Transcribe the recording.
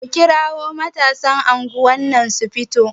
Ku kira matasan anguwar nan su fito!